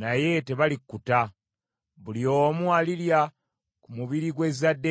naye tebalikkuta. Buli omu alirya ku mubiri gw’ezzadde lye.